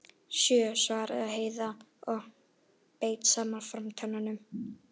Sjö, svaraði Heiða og beit saman framtönnunum.